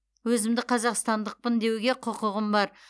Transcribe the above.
өзімді қазақстандықпын деуге құқығым бар